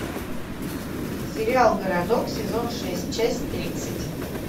сериал городок сезон шесть часть тридцать